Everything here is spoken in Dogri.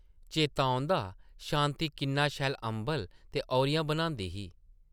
चेता औंदा शांति किन्ना शैल अंबल ते औह्रिया बनांदी ही ।